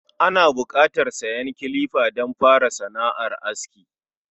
Ana buƙatar siyan kilifa don fara sana’ar aski